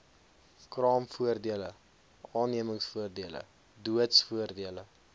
kraamvoordele aannemingsvoordele doodsvoordele